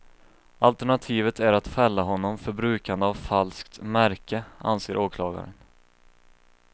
Alternativet är att fälla honom för brukande av falskt märke, anser åklagaren.